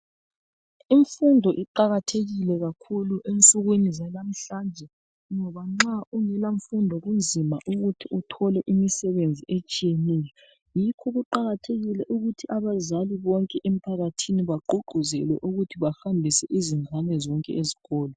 Imfundo iqakathekile kakhulu ensukwini zalamhlanje. Ngoba nxa ungela mfindo kunzima ukuthi othola imisebenzi etshiyeneyo. Yikho kuqakathekile ukuthi abazali bonke emphakathini bagqugquzele ukuthi bahambise izingane zonke ezikolo.